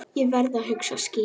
Ég verð að hugsa skýrt.